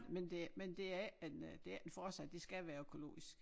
Men det men det er ikke en øh det er ikke en fortsæt det skal være økologisk